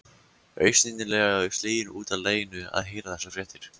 Augsýnilega slegin út af laginu að heyra þessar fréttir.